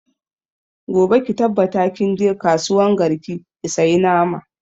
Gobe ki tabbata kin je kasuwan garki ki saya nama!